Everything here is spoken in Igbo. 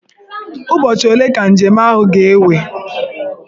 Ụbọchị ole ka njem ahụ ga-ewe?